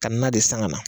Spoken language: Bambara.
Ka na de san ka na